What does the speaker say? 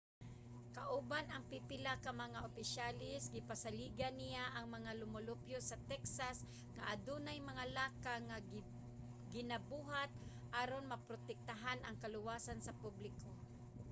kauban ang pipila ka mga opisyales gipasaligan niya ang mga lumulupyo sa texas nga adunay mga lakang nga ginabuhat aron maprotektahan ang kaluwasan sa publiko